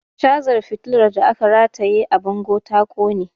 Cazar fitilar da aka rataye a bango ta ƙone